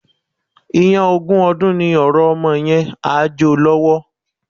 Iyán ogún ọdún ni ọ̀rọ̀ ọmọ yẹn, á jo lọ́wọ́.